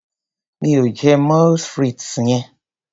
Mi ò jẹ moules frites yen.